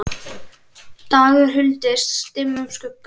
dagur huldist dimmum skugga